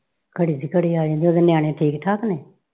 ਘੜੀ ਦੀ ਘੜੀ ਆ ਜਾਈਂ ਤੇ ਉਹਦੇ ਨਿਆਣੇ ਠੀਕ ਠਾਕ ਨੇ?